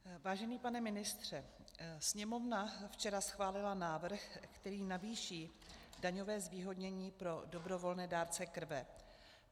Vážený pane ministře, Sněmovna včera schválila návrh, který navýší daňové zvýhodnění pro dobrovolné dárce krve.